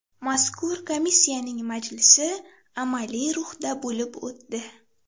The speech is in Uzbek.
Mazkur komissiyaning majlisi amaliy ruhda bo‘lib o‘tdi.